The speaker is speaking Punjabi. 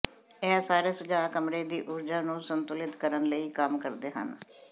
ਇਹ ਸਾਰੇ ਸੁਝਾਅ ਕਮਰੇ ਦੀ ਊਰਜਾ ਨੂੰ ਸੰਤੁਲਿਤ ਕਰਨ ਲਈ ਕੰਮ ਕਰਦੇ ਹਨ